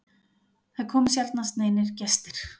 Það komu sjaldnast neinir gestir.